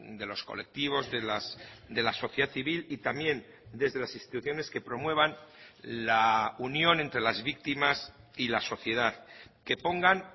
de los colectivos de la sociedad civil y también desde las instituciones que promuevan la unión entre las víctimas y la sociedad que pongan